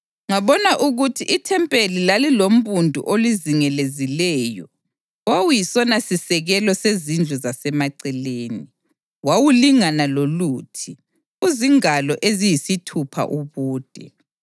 Ngabona ukuthi ithempeli lalilombundu olizingelezileyo owawuyisonasisekelo sezindlu zasemaceleni. Wawulingana loluthi, uzingalo eziyisithupha ubude.